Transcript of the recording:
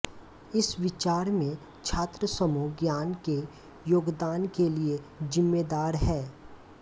इस विचार मे छात्र समूह ज्ञान के योगदान के लिए जिम्मेदार है